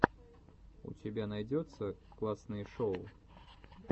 у тебя найдется классные шоу